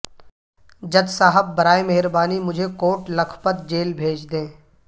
جج صاحب براہ مہربانی مجھے کوٹ لکھپت جیل بھیج دیں